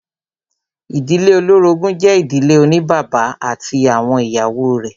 Ìdílé olórogún jẹ́ ìdílé oní bàbá ati awọn ìyàwó rẹ̀.